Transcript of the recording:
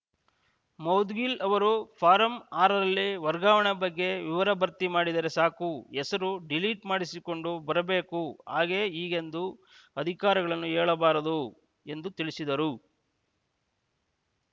ಮೌದ್ಗಿಲ್‌ ಅವರು ಫಾರಂ ಆರು ರಲ್ಲಿ ವರ್ಗಾವಣೆ ಬಗ್ಗೆ ವಿವರ ಭರ್ತಿ ಮಾಡಿದರೆ ಸಾಕು ಹೆಸರು ಡಿಲೀಟ್‌ ಮಾಡಿಸಿಕೊಂಡು ಬರಬೇಕು ಹಾಗೇ ಹೀಗೆಂದು ಅಧಿಕಾರಿಗಳನ್ನು ಹೇಳಬಾರದು ಎಂದು ತಿಳಿಸಿದರು